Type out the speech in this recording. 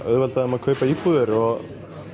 auðvelda þeim að kaupa íbúðir og